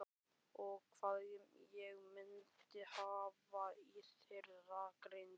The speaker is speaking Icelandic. Og hvað ég myndi hafa í þeirri grein?